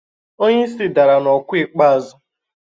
Onye isi isi dara n'okwu ikpeazụ.